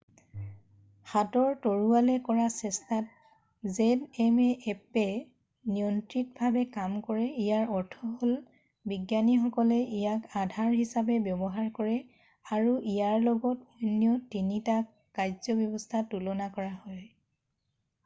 হাতৰ তলুৱাৰে কৰা চেষ্টাত zmএপ্পে নিয়ন্ত্ৰিতভাৱে কাম কৰে ইয়াৰ অৰ্থ হ'ল বিজ্ঞানীসকলে ইয়াক আধাৰ হিচাপে ব্যৱহাৰ কৰে আৰু ইয়াৰ লগত অন্য 3টা কাৰ্যব্যৱস্থা তুলনা কৰা হয়।